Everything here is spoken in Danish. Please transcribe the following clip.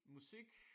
Musik